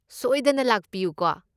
ꯁꯣꯏꯗꯅ ꯂꯥꯛꯄꯤꯌꯨꯀꯣ꯫